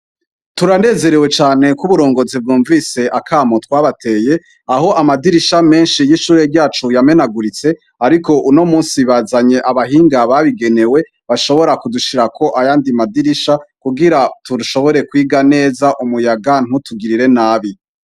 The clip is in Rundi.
Turanezerewe cane ko uburongozi bwumvise akamo twabateye, aho amadirisha menshi y'ishure ryacu yamenaguritse, ariko uno musi bazanye abahinga babigenewe, bashobora kudushirirako ayandi madirisha, kugira dushobore kwiga neza umuyaga ntutugirire nabi.